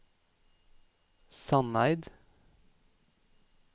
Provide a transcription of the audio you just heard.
Sandeid